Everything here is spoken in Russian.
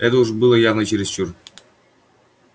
это уж было явно чересчур